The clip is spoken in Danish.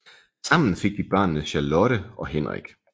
Sammen fik de børnene Charlotte og Henrik